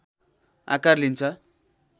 आकार लिन्छ